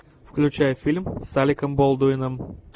включай фильм с алеком болдуином